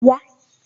Wa